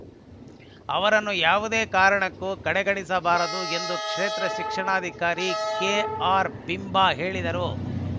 ಅವರನ್ನು ಯಾವುದೇ ಕಾರಣಕ್ಕೂ ಕಡೆಗಣಿಸಬಾರದು ಎಂದು ಕ್ಷೇತ್ರ ಶಿಕ್ಷಣಾಧಿಕಾರಿ ಕೆಆರ್‌ಬಿಂಬ ಹೇಳಿದರು